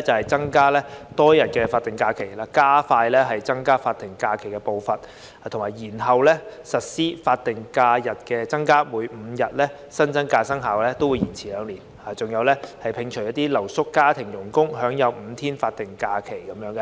即增加多一天法定假期，加快增加法定假期的步伐並延後實施增加法定假日，將增訂5天法定假日的各相關生效日期延遲兩年，以及摒除留宿家庭傭工可享有5天新增法定假日。